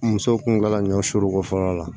Musow kun ga ɲɔ suru ko fɔlɔ la